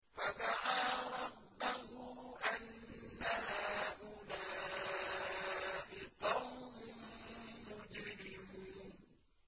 فَدَعَا رَبَّهُ أَنَّ هَٰؤُلَاءِ قَوْمٌ مُّجْرِمُونَ